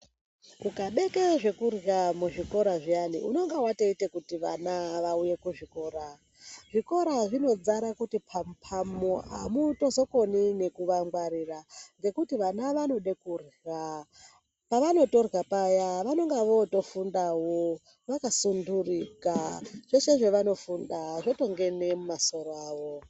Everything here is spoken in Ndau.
Ukabeke zvekurya muzvikora zviyani unenge watoita kuti vana vauye kuzvikora. Zvikora zvinozare kuti pamu-pamu amuzotokoni nekuvangwarira ngekuti vana vanode kurya. Pavanotorya payani vanenge votofundawo vakasunturika zvese zvevanofunda zvotongene mumasoro avo.